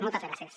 moltes gràcies